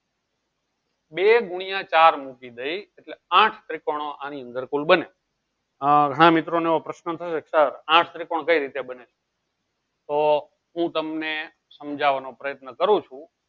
બે ગુણ્યા ચાર મૂકી દઈશ એટલે આઠ ત્રિકોણો કુલ અણી અનાદર બને આ હા મિત્રોને એવો પ્રશ્ન થયો sir આઠ ત્રિકોણ કઈ રીતે બને? તો હું તમને સમજાવવાનો પ્રયત્ન કરું છું